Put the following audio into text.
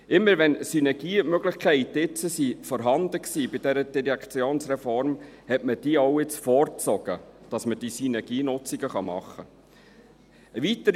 Immer wenn bei dieser Direktionsreform Synergiemöglichkeiten vorhanden waren, hat man diese vorgezogen, damit man diese Synergienutzungen machen konnte.